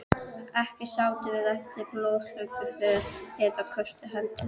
Ekki sátum við eftir með blóðhlaupin för eftir kröftugar hendur.